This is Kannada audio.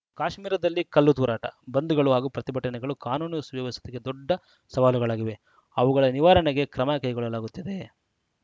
ಕಾಶ್ಮೀರದಲ್ಲಿ ಕಲ್ಲು ತೂರಾಟ ಬಂದ್‌ಗಳು ಹಾಗೂ ಪ್ರತಿಭಟನೆಗಳು ಕಾನೂನು ಸುವ್ಯವಸ್ಥೆಗೆ ದೊಡ್ಡ ಸವಾಲುಗಳಾಗಿವೆ ಅವುಗಳ ನಿವಾರಣೆಗೆ ಕ್ರಮ ಕೈಗೊಳ್ಳಲಾಗುತ್ತಿದೆ